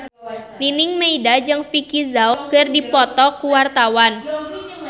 Nining Meida jeung Vicki Zao keur dipoto ku wartawan